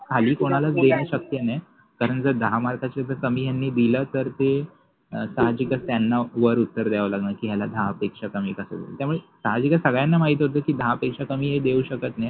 File कोनाला देउ शकते न कारन कि दहा मार्काच्या कमि जर यानि दिल तर साहाजिकच त्याना वर उत्तर द्याव लागनार कि याला दहा पेक्षा कमि कस दिल त्यामुळे सगळ्यानाच माहिति होत कि दहा पेक्षा कमि हे देनार नाहि.